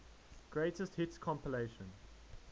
greatest hits compilation